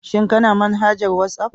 Shin Kana manhajar WhatsApp?